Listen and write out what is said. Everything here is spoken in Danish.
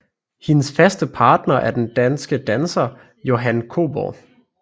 Hendes faste partner er den danske danser Johan Kobborg